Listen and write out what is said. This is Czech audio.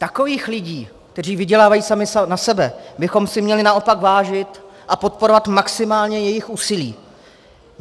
Takových lidí, kteří vydělávají sami na sebe, bychom si měli naopak vážit a podporovat maximálně jejich úsilí.